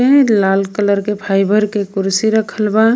लाल colour के fibre के कुर्सी रखल बा।